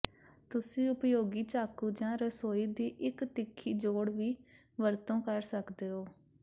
ਤੁਸੀਂ ਉਪਯੋਗੀ ਚਾਕੂ ਜਾਂ ਰਸੋਈ ਦੀ ਇਕ ਤਿੱਖੀ ਜੋੜ ਦੀ ਵਰਤੋਂ ਕਰ ਸਕਦੇ ਹੋ